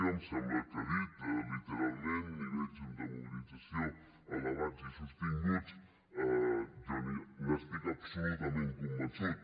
em sembla que ha dit literalment nivells de mobilització elevats i sostinguts jo n’estic absolutament convençut